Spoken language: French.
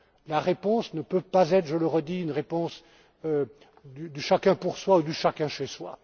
La réponse ne peut pas être je le redis une réponse du chacun pour soi ou du chacun chez soi.